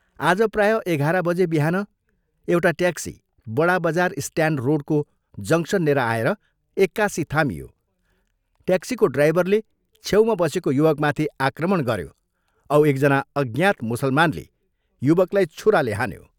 आज प्राय एघाह्र बजे बिहान एउटा ट्याक्सी बडा बजार स्ट्याण्ड रोडको जंक्शननेर आएर एक्कासि थामियो ट्याक्सीको ड्राइभरले छेउमा बसेको युवकमाथि आक्रमण गऱ्यो औ एक जना अज्ञात मुसलमानले युवकलाई छुराले हान्यो।